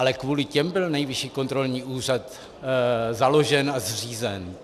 Ale kvůli těm byl Nejvyšší kontrolní úřad založen a zřízen.